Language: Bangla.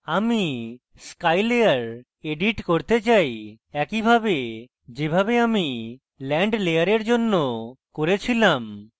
আমি sky layer edit করতে চাই একইভাবে যেভাবে আমি land layer জন্য করে ছিলাম